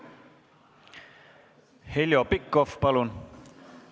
Heljo Pikhof, palun!